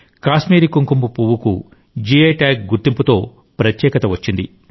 కాశ్మీరీ కుంకుమపువ్వుకు GI tag గుర్తింపుతో ప్రత్యేకఠ వచ్చింది